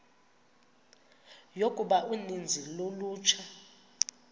yokuba uninzi lolutsha